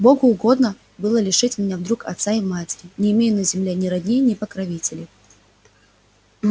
богу угодно было лишить меня вдруг отца и матери не имею на земле ни родни ни покровителей